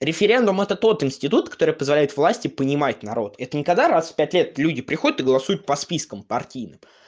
референдум это тот институт который позволяет власти понимать народ это никогда раз в пять лет люди приходят и голосуют по спискам партийным